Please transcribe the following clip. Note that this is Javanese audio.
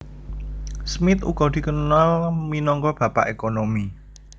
Smith uga dikenal minangka Bapak Ekonomi